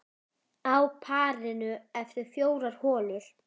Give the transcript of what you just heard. Á parinu eftir fjórar holur.